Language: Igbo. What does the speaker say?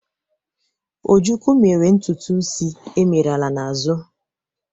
Ojukwu mere ntutu isi emelara n'azụ.